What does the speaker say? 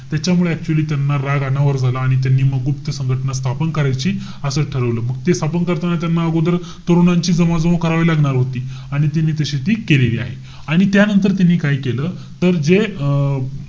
त्याच्यामुळे actually त्यांना राग अनावर झाला आणि त्यांनी म गुप्त संघटना स्थापन करायची असं ठरवलं. मग ते स्थापन करताना अगोदर तरुणांची जमवाजमव करावी लागणार होती. आणि त्यांनी तशी ती केलेली आहे. आणि त्यानंतर त्यानी काय केलं. तर जे अं